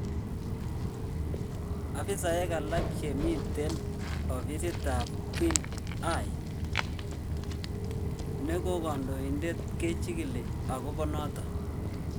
Afisaek alak che miten ofisit ap Guen Hye negondoibdet kechigili agopo noton.